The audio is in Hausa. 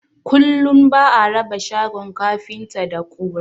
Kullum ba'a raba shagon kafinta da ƙura